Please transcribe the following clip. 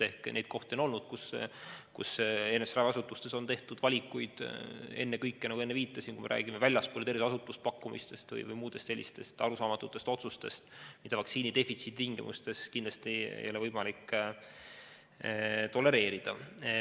Ehk neid kohti on olnud, kus eri raviasutustes on tehtud valikuid, nagu ma enne viitasin, kui me räägime terviseasutustest väljapoole tehtud pakkumistest või muudest sellistest arusaamatutest otsustest, mida vaktsiinidefitsiidi tingimustes kindlasti ei ole võimalik tolereerida.